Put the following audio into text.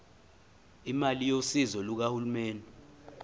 imali yosizo lukahulumeni